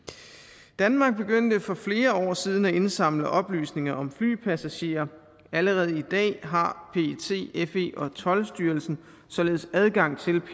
danmark begyndte for flere år siden at indsamle oplysninger om flypassagerer allerede i dag har pet fe og toldstyrelsen således adgang til